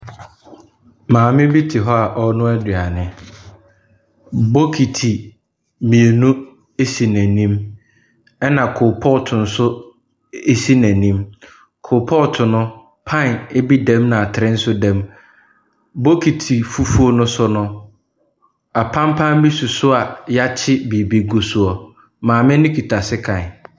Maame bi te hɔ a ɔrenoa aduane. Bokiti mmienu si n'anim, ɛnna choal pot nso si n'anim. Choal pot no, pan bi da mu ɛna atere nso da mu. Bokiti fufuo no so no, apampa bi si so a wɔakye biribi gu soɔ. Maame no kita sekan.